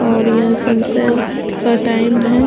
और ये sunset का टाइम है ।